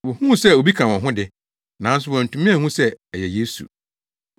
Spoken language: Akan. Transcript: Wohuu sɛ obi ka wɔn ho de, nanso wɔantumi anhu sɛ ɛyɛ Yesu.